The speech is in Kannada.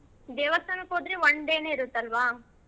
ದೇವಸ್ಥಾನಕ್ ಹೋದ್ರೆ one day ನೆ ಇರುತ್ತ್ ಅಲ್ವಾ?